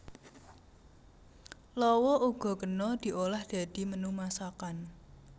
Lawa uga kena diolah dadi menu masakan